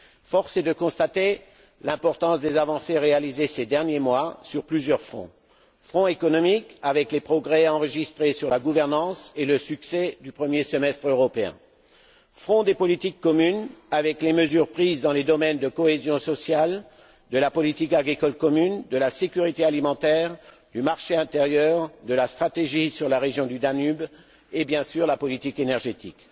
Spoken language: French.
Force est de constater l'importance des avancées réalisées ces derniers mois sur plusieurs fronts front économique, avec les progrès enregistrés sur la gouvernance et le succès du premier semestre européen. Front des politiques communes, avec les mesures prises dans les domaines de la cohésion sociale, de la politique agricole commune, de la sécurité alimentaire, du marché intérieur, de la stratégie sur la région du Danube et, bien sûr, de la politique énergétique.